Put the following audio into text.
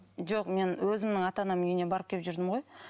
жоқ мен өзімнің ата анамның үйіне барып келіп жүрдім ғой